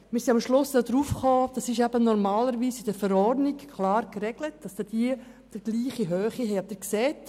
Wir sind am Schluss darauf gekommen, dass normalerweise in der Verordnung geregelt wird, dass diesen Personen der gleich hohe Betrag zusteht.